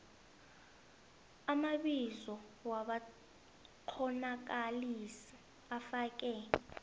amabizo wabakghonakalisi ufake